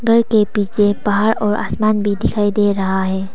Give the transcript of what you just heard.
घर के पीछे पहाड़ और आसमान भी दिखाई दे रहा है।